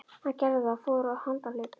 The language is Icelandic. Hann gerði það og fór á handahlaupum.